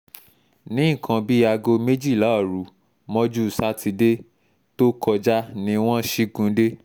ní nǹkan bíi aago méjìlá òru mọ́jú sátidé tó kọjá ni wọ́n ṣígun dé